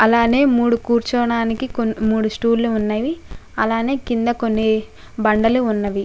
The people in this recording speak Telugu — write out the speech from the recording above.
అలానే మూడు కూర్చోవడానికి కొన్ని మూడు స్టూల్ లు ఉన్నవి. అలానే కింద కొన్ని బండలు ఉన్నవి.